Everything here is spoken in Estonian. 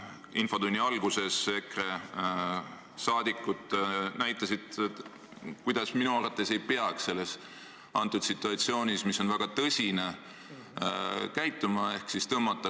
Infotunni alguses EKRE saadikud näitasid, kuidas minu arvates ei peaks sellises väga tõsises situatsioonis käituma.